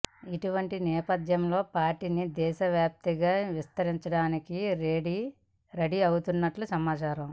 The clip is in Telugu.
ఇటువంటి నేపథ్యంలో పార్టీని దేశ వ్యాప్తంగా విస్తరింపచేయడానికి రెడీ అయినట్లు సమాచారం